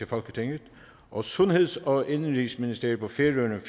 folketinget og sundheds og indenrigsministeriet på færøerne